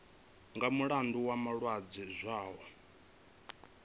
nga mulandu wa malwadze zwao